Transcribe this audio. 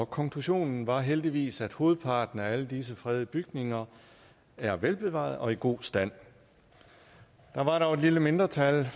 konklusionen var heldigvis at hovedparten af alle disse fredede bygninger er velbevarede og i god stand der var dog et lille mindretal